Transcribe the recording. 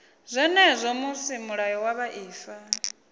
zwenezwo musi mulayo wa vhuaifa